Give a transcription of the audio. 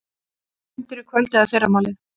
Fundur í kvöld eða fyrramálið